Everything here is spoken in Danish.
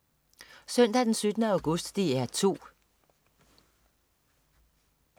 Søndag den 17. august - DR 2: